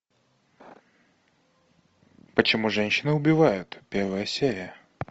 почему женщины убивают первая серия